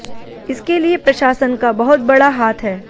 इसके लिए प्रशासन का बहुत बड़ा हाथ है